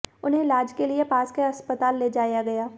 उन्हें इलाज के लिए पास के अस्पताल ले जाया गया